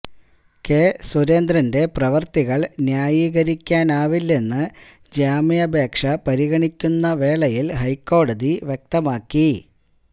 K സുരേന്ദ്രന്റെ പ്രവൃത്തികൾ ന്യായീകരിയ്ക്കാനാവില്ലന്ന് ജാമ്യപേക്ഷ പരിഗണിക്കുന്ന വേളയിൽ ഹൈക്കോടതി വ്യക്തമാക്കി